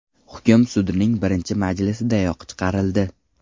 Hukm sudning birinchi majlisidayoq chiqarildi.